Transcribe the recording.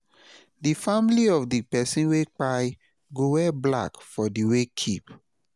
di family of di pesin wey kpai go wear black for di wakekeep